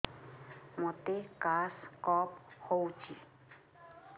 ମୋତେ କାଶ କଫ ହଉଚି